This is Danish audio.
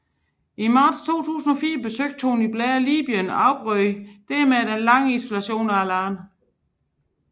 I marts 2004 besøgte Tony Blair Libyen og afbrød dermed den lange isolation af landet